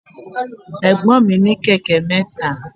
Ẹ̀gbọ́n mi ní kẹ̀kẹ́ mẹ́ta.